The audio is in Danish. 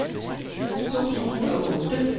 to tusind og otte